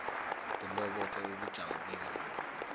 kiloboke ubujamo bezinto